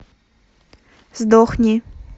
сдохни